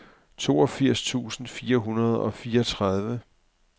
toogfirs tusind fire hundrede og fireogtredive